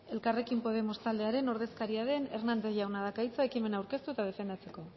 elkarrekin podemos taldearen ordezkaria den hernández jaunak dauka hitza ekimena aurkeztu eta defendatzeko